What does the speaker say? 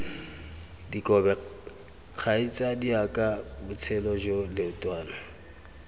dikobe kgaitsadiaka botshelo jo leotwana